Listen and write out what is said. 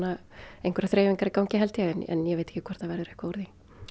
einhverjar þreifingar í gangi en ég veit ekki hvort það verður eitthvað úr því